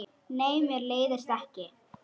Nei, mér leiðist ekki.